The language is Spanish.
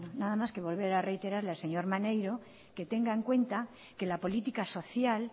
nada más que volver a reiterarle al señor maneiro que tenga en cuenta que la política social